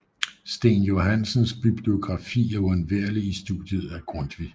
Steen Johansens bibliografi er uundværlig i studiet af Grundtvig